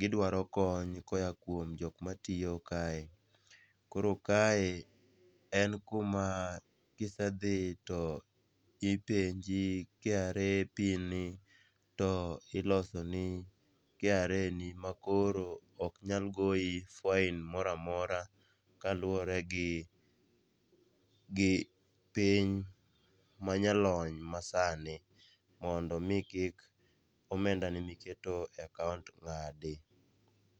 gidwaro kony koya kuom jok matiyo kae. Koro kae en kuma kisedhi to ipenji KRA PIN ni to ilosoni KRA ni makoro ok nyal goyi fine mora mora kaluwore gi piny manyalony masani mondo omi kik omendani miketo e akaont ng'adi.